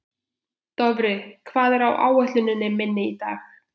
Dofri, hvað er á áætluninni minni í dag?